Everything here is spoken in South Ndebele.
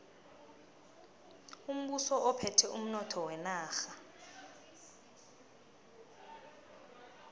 umbuso uphethe umnotho wenarha